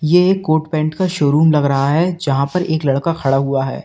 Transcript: ये एक coat pant का शोरूम लग रहा है जहां पर एक लड़का खड़ा हुआ है।